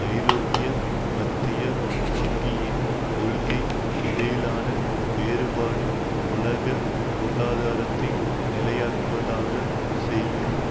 ஐரோப்பிய மத்திய வங்கியின் கொள்கை இடையிலான வேறுபாடு உலக பொருளாதாரத்தை நிலையற்றதாகவே செய்யும்